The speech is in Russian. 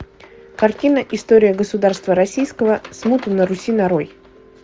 картина история государства российского смута на руси нарой